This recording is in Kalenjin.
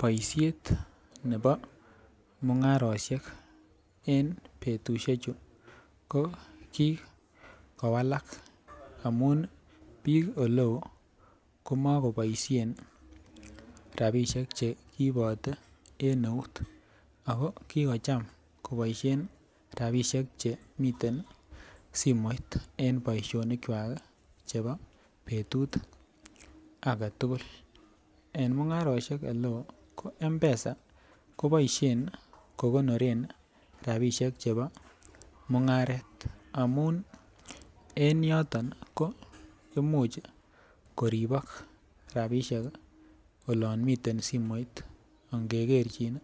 Boisiet nebo mung'arosiek en betusiek chu , ko kikowalak komakobishen rabisiek cheibote, en eut ako kikocham kiboisien chemiten simoit en boisionik kuak ih chebo betut agetugul, en mung'arosiek oleo ko mpesa kobaishien kokoniren rabisiek chebo mung'aret. Amuun en yoton ko imuch koribak rabisiek ih , olan miten simoit, angekerchin